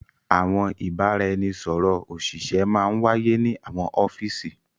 Àwọn ìbàràẹ̀nisọ̀rọ̀ ọṣìṣẹ̀ mà n wá yẹ ni àwọn ọfiísì.